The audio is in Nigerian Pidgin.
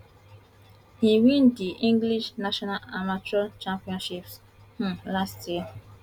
e win di english national amateur championships um last year